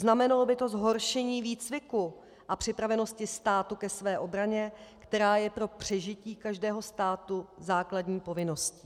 Znamenalo by to zhoršení výcviku a připravenosti státu ke své obraně, která je pro přežití každého státu základní povinností.